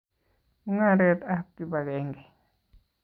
Mung'aret ab kipakenge